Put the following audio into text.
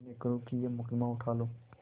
विनय करुँ कि यह मुकदमा उठा लो